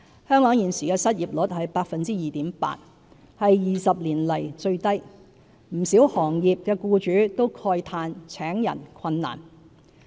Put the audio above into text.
香港現時的失業率是 2.8%， 是20多年來最低，不少行業的僱主都慨嘆請人困難。